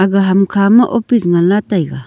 ga hamkha ma office ngan la taiga.